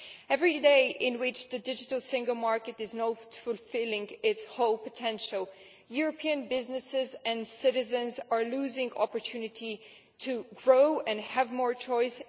Every day on which the digital single market is not fulfilling its whole potential, European businesses and citizens are losing the opportunity to grow and have more choice.